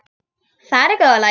Það er í góðu lagi,